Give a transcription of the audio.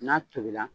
N'a tobila